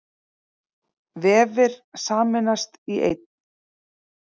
Vefir sameinast í einn